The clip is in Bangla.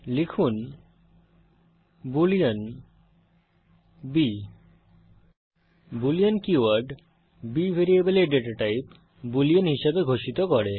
লিখুন boolean b boolean keyword b ভ্যারিয়েবলের ডেটা টাইপ বুলিন হিসাবে ঘোষিত করে